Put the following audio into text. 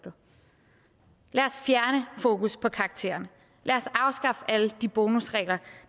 fjerne fokus på karakteren lad os afskaffe alle de bonusregler